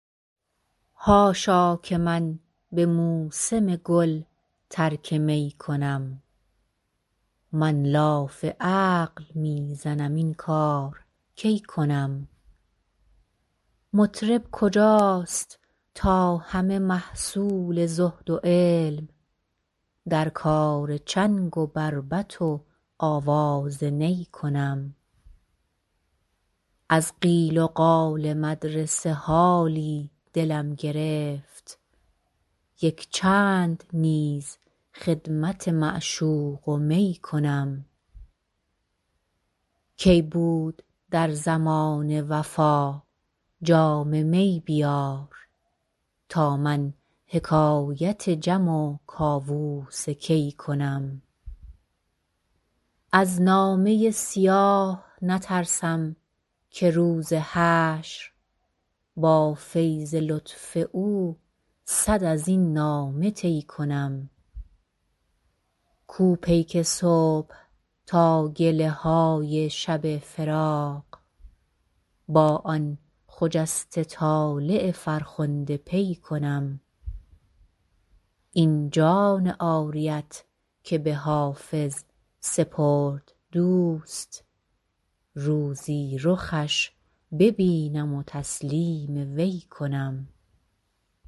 حاشا که من به موسم گل ترک می کنم من لاف عقل می زنم این کار کی کنم مطرب کجاست تا همه محصول زهد و علم در کار چنگ و بربط و آواز نی کنم از قیل و قال مدرسه حالی دلم گرفت یک چند نیز خدمت معشوق و می کنم کی بود در زمانه وفا جام می بیار تا من حکایت جم و کاووس کی کنم از نامه سیاه نترسم که روز حشر با فیض لطف او صد از این نامه طی کنم کو پیک صبح تا گله های شب فراق با آن خجسته طالع فرخنده پی کنم این جان عاریت که به حافظ سپرد دوست روزی رخش ببینم و تسلیم وی کنم